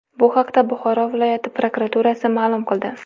Bu haqda Buxoro viloyati prokuraturasi ma’lum qildi .